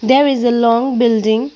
There is a long building.